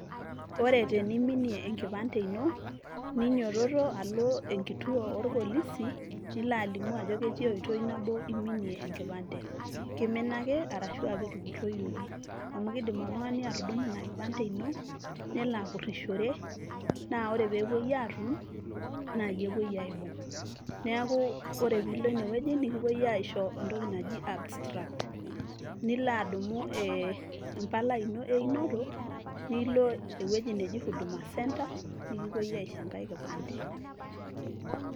ore teniminie enkipande ino ninyiototo alo enkituo orpolisi nilo alimu ajo ketia oitoi nabo iminie enkipande kimina ake arashua ketupurroyioki amu kidim oltung'ani atudumu ina kipande ino nelo apurrishore naa ore peepuoi atum naa iyie epuoi aibung neaku ore piilo enewueji nikipuoi aisho entoki naji abstract nilo adumu eh, empalai ino einoto nilo ewueji neji huduma centre nikipuoi aisho enkae kipande.